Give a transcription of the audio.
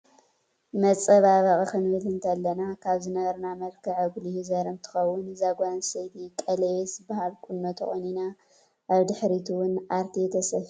መፃባበቂ ክንብል እንተለና ካብ ዝነበረና መልክዕ ኣጉሊሁ ዘርኢ እንትከውን እዛ ጓል ኣነስተይቲ ቀለቤት ዝበሃል ቁኖ ተቆኒና ኣበ ድሕሪት እውን ኣርቴ ተሰፍያ ኣላ።